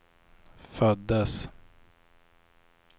föddes